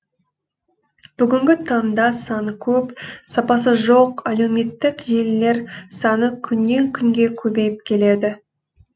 бүгінгі таңда саны көп сапасы жоқ әлеуметтік желілер саны күннен күнге көбейіп келеді